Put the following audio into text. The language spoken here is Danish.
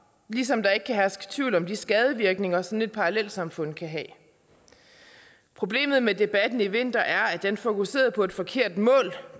ligesom der ikke kan herske tvivl om de skadevirkninger sådan et parallelsamfund kan have problemet med debatten i vinter er at den fokuserede på et forkert mål